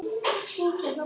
Það sama og ég gerði.